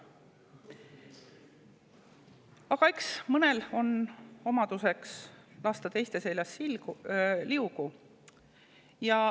Aga eks mõnele ole omane lasta teiste seljas liugu.